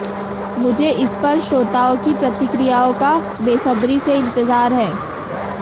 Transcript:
मुझे इस पर श्रोताओं की प्रतिक्रियाओं का बेसब्री से इंतजार है